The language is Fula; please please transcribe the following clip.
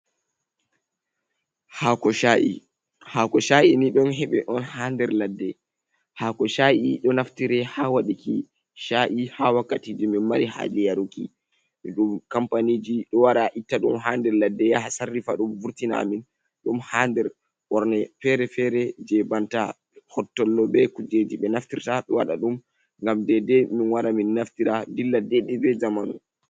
Haako Sha'i: Haako sha’i ni ɗon heɓe on haa nder ladde. Haako sha'i ɗo naftire haa waɗiki sha'i haa wakkatiji min mari haali yaruki. Ɗum kampaniji ɗo wara itta ɗum haa nder ladde yaha sarrifa ɗum vurtina amin ɗum haa nder ɓorne fere-fere je banta hottollo be kujeji ɓe naftirta. Ɗo waɗa ɗum ngam dedei min wara min naftira dilla dede be zamanu.